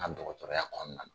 N ka dɔgɔtɔrɔya kɔnɔna na.